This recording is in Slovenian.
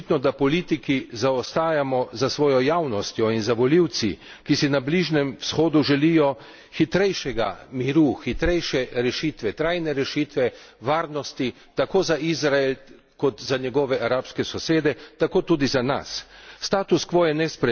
Rekel bi, da je več kot očitno, da politiki zaostajamo za svojo javnostjo in za volivci, ki si na Bližnjem vzhodu želijo hitrejšega miru, hitrejše rešitve, trajne rešitve varnosti, tako za Izrael kot za njegove arabske sosede, tako tudi za nas.